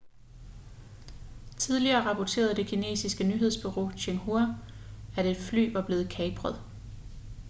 tidligere rapporterede det kinesiske nyhedsbureau xinhua at et fly var blevet kapret